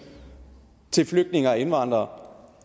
til flygtninge og indvandrere